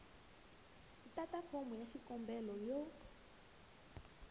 tata fomo ya xikombelo ya